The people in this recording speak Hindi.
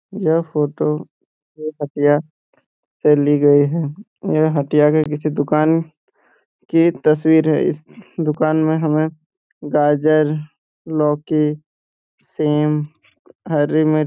यह फोटो एक हटिया से ली गई है यह हटिया के पीछे दुकान की तस्वीर है इस दुकान में हमें गाजर लौकी सेम हरी मिर्च --